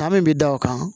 Kan min bɛ da o kan